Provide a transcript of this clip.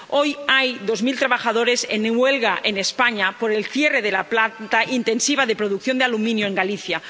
Hoy hay dos mil trabajadores en huelga en España por el cierre de la planta intensiva de producción de aluminio en Galicia.